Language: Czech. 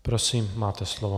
Prosím, máte slovo.